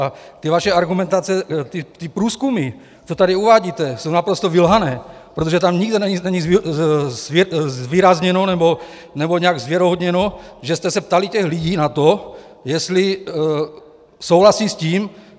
A ty vaše argumentace, ty průzkumy, co tady uvádíte, jsou naprosto vylhané, protože tam nikde není zvýrazněno nebo nějak zvěrohodněno, že jste se ptali těch lidí na to, jestli souhlasí s tím.